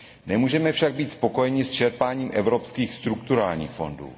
Nemůžeme však být spokojeni s čerpáním evropských strukturálních fondů.